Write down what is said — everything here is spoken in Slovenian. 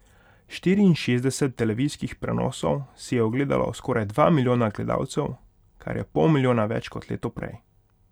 Štiriinšestdeset televizijskih prenosov si je ogledalo skoraj dva milijona gledalcev, kar je pol milijona več kot leto prej.